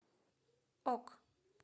ок